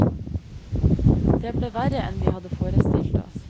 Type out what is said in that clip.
Det ble verre enn vi hadde forestilt oss.